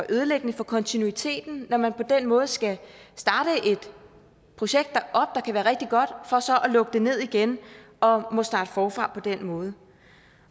ødelæggende for kontinuiteten når man på den måde skal starte et projekt der kan være rigtig godt for så at lukke det ned igen og må starte forfra på den måde